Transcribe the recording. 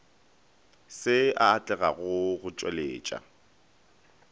se a atlega go tšweletša